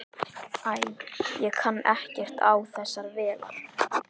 Æ, ég kann ekkert á þessar vélar.